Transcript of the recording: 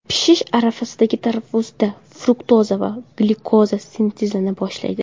Pishish arafasidagi tarvuzda fruktoza va glyukoza sintezlana boshlaydi.